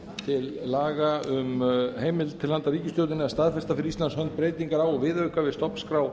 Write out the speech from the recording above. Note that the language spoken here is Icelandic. til laga um heimild til handa ríkisstjórninni að staðfesta fyrir íslands hönd breytingar á og viðauka við stofnskrá